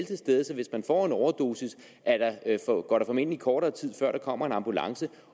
til stede så hvis man får en overdosis går der formentlig kortere tid før der kommer en ambulance